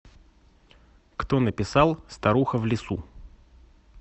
кто написал старуха в лесу